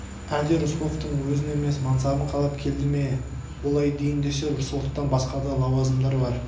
әлде рысқұловтың өзін емес мансабын қалап келді ме олай дейін десе рысқұловтан басқа да лауазымдар бар